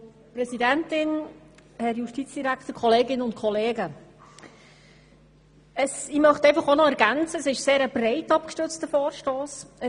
Ich möchte ergänzen, dass das ein sehr breit abgestützter Vorstoss ist.